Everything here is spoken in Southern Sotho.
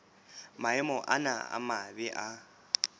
maemo ana a mabe a